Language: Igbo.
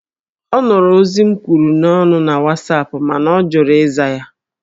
Ọ nụrụ ozi m kwuru n'ọnụ na Wasapụ mana ọ jụrụ ịza ya